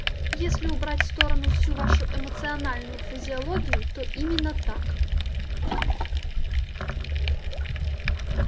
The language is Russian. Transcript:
если убрать в сторону всю вашу эмоциональную фразеологию то именно так